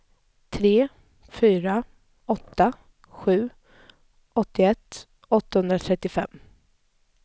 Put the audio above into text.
tre fyra åtta sju åttioett åttahundratrettiofem